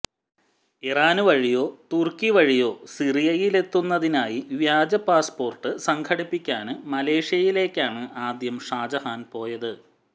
ഇറാന് വഴിയോ തുര്ക്കി വഴിയോ സിറിയയിലെത്തുന്നതിനായി വ്യാജ പാസ്പോര്ട്ട് സംഘടിപ്പിക്കാന് മലേഷ്യയിലേക്കാണ് ആദ്യം ഷാജഹാന് പോയത്